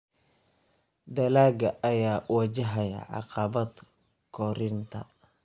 Dalagga ayaa wajahaya caqabado koritaan.